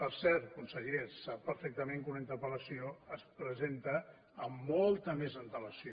per cert conseller sap perfectament que una interpel·lació es presenta amb molta més antelació